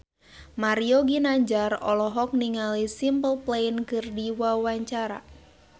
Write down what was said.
Mario Ginanjar olohok ningali Simple Plan keur diwawancara